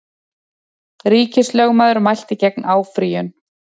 Ríkislögmaður mælti gegn áfrýjun